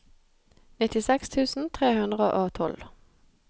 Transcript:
nittiseks tusen tre hundre og tolv